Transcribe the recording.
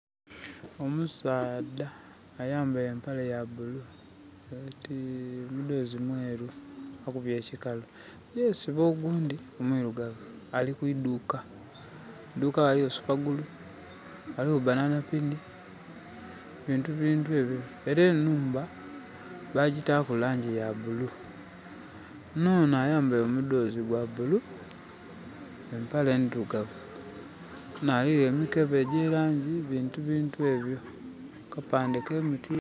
Omusaadha ayambaile empale ya bulu no mudhozi mweru akubye ekikalu yesiba ogundhi omwirugavu. Ali ku idhuka. Ku idhuka ghaliyo supagulu, ghaligho banana pini bintu bintu ebyo. Era enhumba bagitaku langi ya bulu. Nonho ayambaile omudhozi gwa bulu empale ndhirugavu ghona ghaligho emikebe egya langi bintu bintu ebyo. Akapande ka MTN...